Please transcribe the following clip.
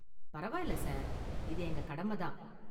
பரவாயில்லை சார், இது எங்க கடமை தான்.